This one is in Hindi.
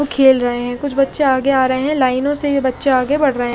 खेल रहे है कुछ बच्चे आगे आ रहे है लाइनों से ये बच्चे आगे बड रहे--